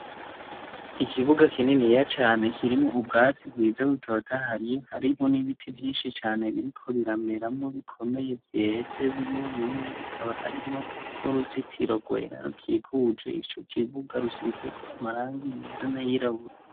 Ikibuga kininiya cane kirimwo ubwatsi bwiza butotahaye, harimo n'ibiti vyinshi cane biriko birameramwo bikomeye vyeze bimwe bimwe bikaba birimwo n'uruzitiro rwera rukikuje ico kibuga rusizeko amarangi yera nay''irabura.